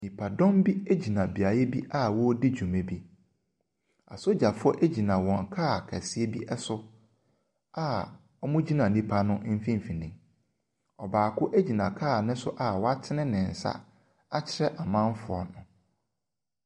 Nnipadɔm bi gyina beaeɛ bi a wɔredi dwuma bi. Asogyafoɔ gyina wɔn kaa kɛseɛ bi so a wɔgyina nnipa no mfimfini. Ɔbaako gyina kaa no so a watene ne nsa a watene ne nsa akyerɛ amanfoɔ no.